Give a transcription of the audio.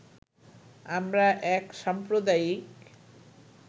আমরা এক সাম্প্রদায়িক